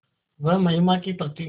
वह महिमा की प्रतिमा